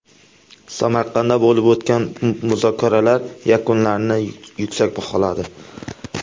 Samarqandda bo‘lib o‘tgan muzokaralar yakunlarini yuksak baholadi.